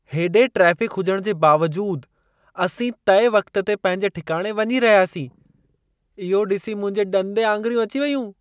हेॾे ट्रेफ़िक हुजण जे बावजूदु, असीं तइ वक़्त ते पंहिंजे ठिकाणे वञी रहियासीं। इहो ॾिसी मुंहिंजे ॾंदे आंङुरियूं अची वयूं!